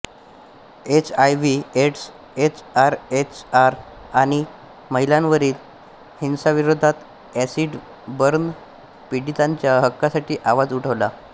HIV AIDS SRHR आणि महिलांवरील हिंसाविरोधात एसिड बर्न पीडितांच्या हक्कांसाठी आवाज उठवला